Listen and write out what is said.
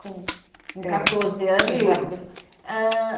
Com quatorze anos já conversa. É, isso. Ãh